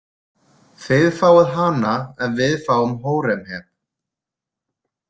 Þið fáið hana ef við fáum Hóremheb.